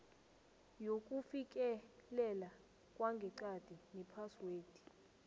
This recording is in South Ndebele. yokufikelela kwangeqadi nephaswed